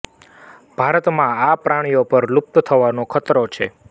ભારતમાં આ પ્રાણીઓ પર લુપ્ત થવાનો ખતરો છે